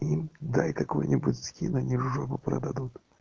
дай какой-нибудь скин они жопу продадут